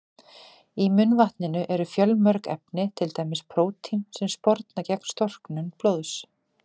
Í munnvatninu eru fjölmörg efni, til dæmis prótín sem sporna gegn storknun blóðs.